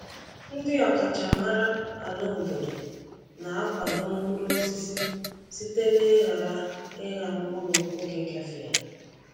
Ndị ọkachamara ala obodo na-akwado mkpụrụ osisi site n’ịghara ịgha mkpụrụ oge gafeela.